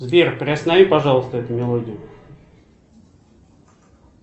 сбер приостанови пожалуйста эту мелодию